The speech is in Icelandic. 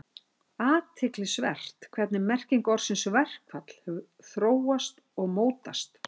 Athyglisvert er hvernig merking orðsins verkfall hefur þróast og mótast.